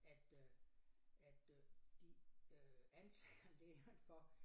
At øh at øh de øh anklager læreren for